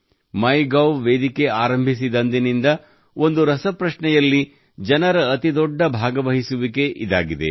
MyGov ವೇದಿಕೆ ಆರಂಭಿಸಿದಂದಿನಿಂದ ಒಂದು ರಸಪ್ರಶ್ನೆಯಲ್ಲಿ ಜನರ ಅತಿ ದೊಡ್ಡ ಭಾಗವಹಿಸುವಿಕೆ ಇದಾಗಿದೆ